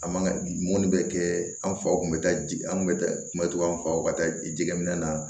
An man ka mun bɛ kɛ an faw kun bɛ taa ji an kun bɛ taa kungo faw ka taa jɛgɛ minɛ na